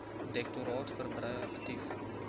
direktoraat verbrei aktief